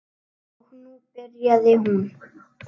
Og nú byrjaði hún.